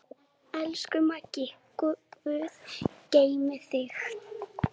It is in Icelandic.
Elsku Maggi, guð geymi þig.